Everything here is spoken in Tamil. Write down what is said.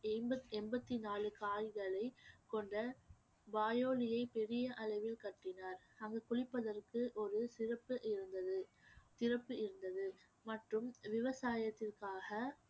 எண்பத்~ எண்பத்தி நாலு கால்களை கொண்ட வாயோலியை பெரிய அளவில் கட்டினார் அதில் குளிப்பதற்கு ஒரு இருந்தது சிறப்பு இருந்தது மற்றும் விவசாயத்திற்காக